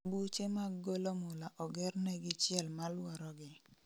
Buche mag golo mula oger negi chiel maluoro gi